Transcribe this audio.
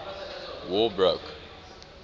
war broke